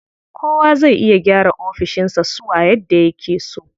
Kowa zai iya gyara ofishin sa suwa yadda yake so.